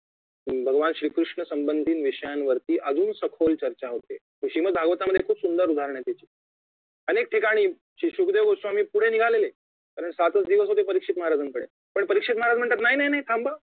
भगवान श्री कृष्ण संबंधीत विषयांवरती अजून सखोल चर्चा होते श्रीमत भागवतामध्ये खूप सुंदर उदाहरणं आहेत त्याची अनेक ठिकाणी सुखदेव गोस्वामी पुढे निघालेले कारण सातच दिवस होते परीक्षेत महाराजांकडे पण परीक्षेत महाराज म्हणतात नाही नाही नाही थांबा